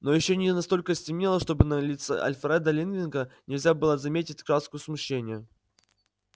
но ещё не настолько стемнело чтобы на лице альфреда лэннинга нельзя было заметить краску смущения